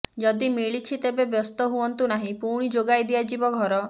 ଯଦି ମିଳିଛି ତେବେ ବ୍ୟସ୍ତ ହୁଅନ୍ତୁ ନାହିଁ ପୁଣି ଯୋଗାଇ ଦିଆଯିବ ଘର